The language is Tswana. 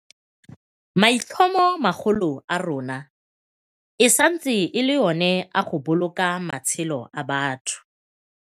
Maitlhomomagolo a rona e santse e le ona a go boloka matshelo a batho.